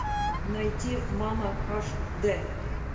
найти мама аш д